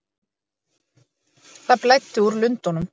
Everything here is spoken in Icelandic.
Það blæddi úr lundunum.